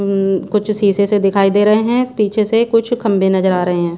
अं कुछ शीशे से दिखाई दे रहे हैं पिछे से कुछ खंभे नजर आ रहे हैं।